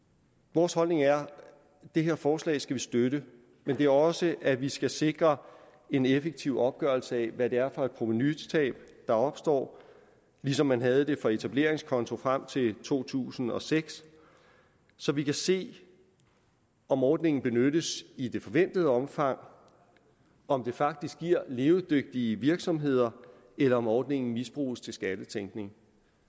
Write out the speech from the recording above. vores holdning er at det her forslag skal vi støtte men det er også at vi skal sikre en effektiv opgørelse af hvad det er for provenutab der opstår ligesom man havde det for etableringskonti frem til to tusind og seks så vi kan se om ordningen benyttes i det forventede omfang og om det faktisk giver levedygtige virksomheder eller om ordningen misbruges til skattetænkning